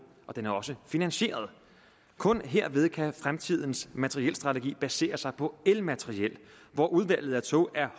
og den er også finansieret kun herved kan fremtidens materielstrategi basere sig på elmateriel hvor udvalget af tog er